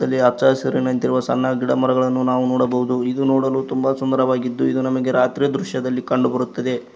ಇಲ್ಲಿ ಹಚ್ಚ ಹಸಿರು ನಿಂತಿರುವ ಸಣ್ಣ ಗಿಡ ಮರಗಳನ್ನೂ ನಾವು ನೋಡಬಹುದು ಇದು ನೋಡಲು ತುಂಬ ಸುಂದರವಾಗಿದ್ದು ಇದು ನಮಗೆ ರಾತ್ರಿಯ ದೃಶ್ಯದಲ್ಲಿ ಕಂಡು ಬರುತ್ತದೆ.